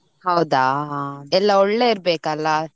ಹೌದಾ ಹಾ ಎಲ್ಲ ಒಳ್ಳೆ ಇರ್ಬೇಕಲ್ಲ.